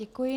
Děkuji.